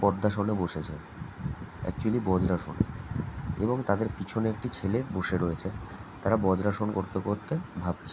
পদ্মাসনে বসেছে একচুয়েলি বজ্রাসন এবং তাদের পিছনে একটি ছেলে বসে রয়েছে তারা বজ্রাসন করতে করতে ভাবছে--